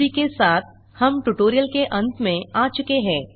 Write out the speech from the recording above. इसी के साथ हम ट्यूटोरियल के अंत में आ चुके हैं